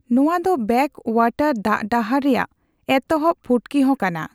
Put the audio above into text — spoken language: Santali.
ᱱᱚᱣᱟ ᱫᱚ ᱵᱮᱠᱼᱚᱣᱟᱴᱟᱨ ᱫᱟᱜᱰᱟᱦᱟᱨ ᱨᱮᱭᱟᱜ ᱮᱛᱚᱦᱚᱵ ᱯᱷᱩᱴᱠᱤᱦᱚᱸ ᱠᱟᱱᱟ ᱾